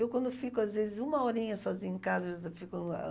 Eu, quando fico, às vezes, uma horinha sozinha em casa, eu fico ãh